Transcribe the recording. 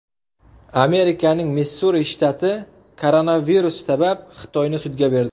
Amerikaning Missuri shtati koronavirus sabab Xitoyni sudga berdi.